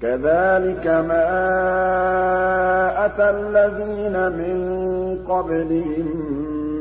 كَذَٰلِكَ مَا أَتَى الَّذِينَ مِن قَبْلِهِم